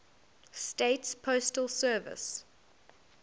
states postal service